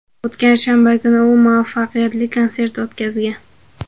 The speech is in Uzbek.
O‘tgan shanba kuni u muvaffaqiyatli konsert o‘tkazgan.